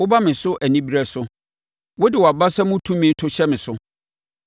Woba me so anibereɛ so; wode wʼabasa mu tumi to hyɛ me so.